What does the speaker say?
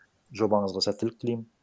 жобаңызға сәттілік тілеймін